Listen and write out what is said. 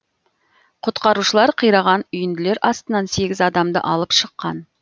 құтқарушылар қираған үйінділер астынан сегіз адамды алып шыққан